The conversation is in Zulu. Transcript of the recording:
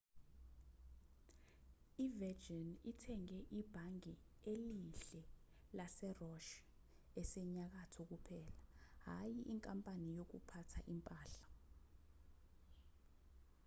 i-virgin ithenge ibhange elihle' lase-roch esenyakatho kuphela hhayi inkampani yokuphatha impahla